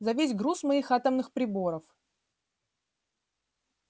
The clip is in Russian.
за весь груз моих атомных приборов